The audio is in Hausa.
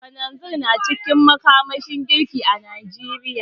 Kananzir na cikin makamashin girki a Najeriya.